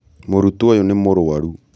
mũrutwo ũyũ nĩ mũrwaru